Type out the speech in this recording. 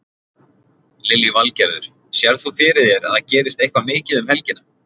Lillý Valgerður: Sérð þú fyrir þér að það gerist eitthvað mikið um helgina?